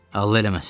Allah eləməsin.